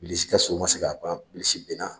Bilisi ka so ma se ak'a pan bbilisi binna!